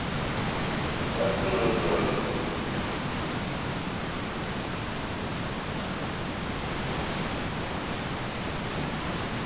Heldurðu að þetta geti haft áhrif og tefji störf þingsins á einhvern hátt?